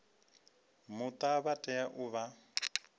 muta vha tea u vha